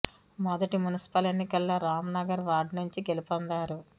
మొదటి మున్సిపల్ ఎన్నికల్లో రామ్ నగర్ వార్డు నుంచి గెలుపొందారు